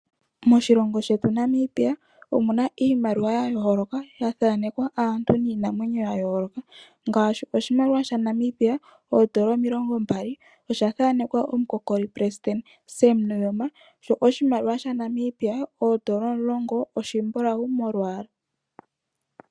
Moshilongo shetu Namibia omuna iimaliwa ya yooloka, ya thanekwa aantu niinamwenyo ya yooloka ngaashi oshimaliwa sha Namibia oondola omilongo mbali, osha thaanekwa omukokoli pelesidente Sam Nuuyoma. Sho oshimaliwa sha Namibia oondola omulongo, oshimbulawu molwaala.